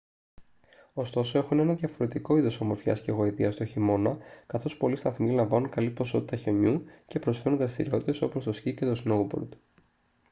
ωστόσο έχουν ένα διαφορετικό είδος ομορφιάς και γοητείας τον χειμώνα καθώς πολλοί σταθμοί λαμβάνουν καλή ποσότητα χιονιού και προσφέρουν δραστηριότητες όπως το σκι και το σνόουμπορντ